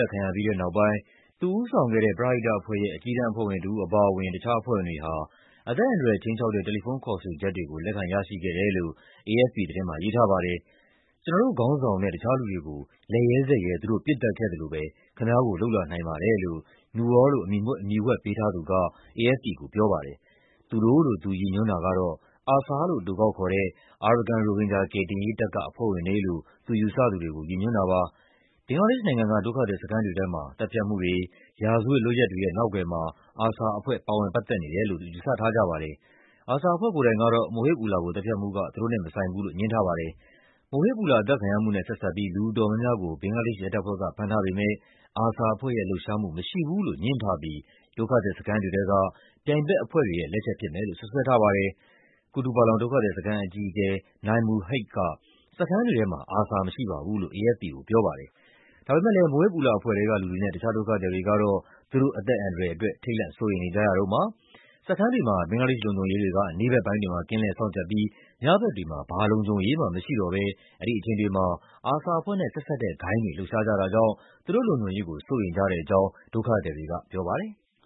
တ်ခံရပြီးတဲ့ နောက်ပိုင်း သူဦးဆောင်ခဲ့တဲ့ ပရဟိတအဖွဲ့ရဲ့ အကြီးတန်းအဖွဲ့ဝင်တဦး အပါအဝင် တခြားအဖွဲ့ဝင်တွေဟာ အသက်အန္တရာယ် ခြိမ်းခြောက်တဲ့ တယ်လီဖုန်း ခေါ်ဆိုချက်တွေကို လက်ခံရရှိခဲ့တယ်လို့ AFP သတင်းမှာ ရေးထားပါတယ်။ "ကျနော်တို့ခေါင်းဆောင်နဲ့ တခြားလူတွေကို လက်ရဲဇက်ရဲ သူတို့ပစ်သတ်ခဲ့သလိုပဲ ခင်ဗျားကို လုပ်လာနိုင်ပါတယ်" လို့ Noor လို့ အမည်ဝှက်ပေးထားသူက AFP ကို ပြောပါတယ်။ ‘သူတို့’ လို့ သူရည်ညွှန်းတာကတော့ အာဆာလို့ အတိုကောက်ခေါ်တဲ့ အာရကန် ရိုဟင်ဂျာ ကယ်တင်ရေးတပ်က အဖွဲ့ဝင်တွေလို့ သူယူဆသူတွေကို ရည်ညွှန်းတာပါ။ ဘင်္ဂလားဒေ့ရှ်နိုင်ငံက ဒုက္ခသည်စခန်းတွေထဲမှာ သတ်ဖြတ်မှုတွေ၊ ရာဇဝတ်လုပ်ရပ်တွေရဲ့ နောက်ကွယ်မှာ အာဆာအဖွဲ့ ပါဝင်ပတ်သက်နေတယ်လို့ ယူဆထားကြပါတယ်။ အာဆာအဖွဲ့ ကိုယ်တိုင်ကတော့ Mohib Ullah ကို သတ်ဖြတ်မှုက သူတို့နဲ့မဆိုင်ဘူးလို့ ငြင်းထားပါတယ်။ Mohib Ullah အသတ်ခံရမှုနဲ့ ဆက်စပ်ပြီး လူအတော်များများကို ဘင်္ဂလားဒေ့ရှ် ရဲတပ်ဖွဲ့က ဖမ်းထားပေမယ့် အာဆာအဖွဲ့လှုပ်ရှားမှု မရှိဘူးလို့ ငြင်းထားပြီး ဒုက္ခသည်စခန်းတွေထဲက ပြိုင်ဘက်အဖွဲ့တွေလက်ချက် ဖြစ်မယ်လို့ စွပ်စွဲထားပါတယ်။ ကုတုပလောင် ဒုက္ခသည်စခန်း အကြီးအကဲ Naimul Haque က "စခန်းတွေထဲမှာ အာဆာမရှိပါဘူး" လို့ AFP ကို ပြောပါတယ်။ ဒါပေမယ့်လည်း Mohib Ullah အဖွဲ့ထဲကလူတွေနဲ့ တခြားဒုက္ခသည်တွေကတော့ သူတို့အသက်အန္တရာယ်အတွက် ထိတ်လန့်စိုးရိမ်နေကြရတုန်းပါ။ စခန်းတွေမှာ ဘင်္ဂလားဒေ့ရှ် လုံခြုံရေးတွေက နေ့ဘက်ပိုင်းတွေမှာ ကင်းလှည့်စောင့်ကြပ်ပြီး ညဘက်တွေမှာ ဘာလုံခြုံရေးမှ မရှိတော့ဘဲ အဲဒီအချိန်တွေမှာ အာဆာအဖွဲ့နဲ့ ဆက်စပ်တဲ့ ဂိုဏ်းတွေ လှုပ်ရှားကြတာကြောင့် သူတို့လုံခြုံရေးကို စိုးရိမ်ကြတဲ့အကြောင်း ဒုက္ခသည်တွေက ပြောပါတယ်။